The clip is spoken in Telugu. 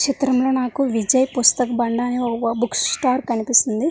ఈ చ్రితం లో నాకు విజయ్ పుస్తక్ బండి అని ఒక బుక్ స్టాల్ కనిపిస్తోంది.